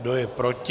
Kdo je proti?